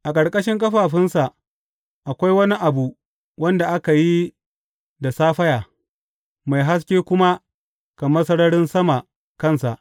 A ƙarƙashin ƙafafunsa akwai wani abu wanda aka yi da saffaya, mai haske kuma kamar sararin sama kansa.